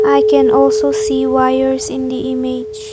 I can also see wires in the image.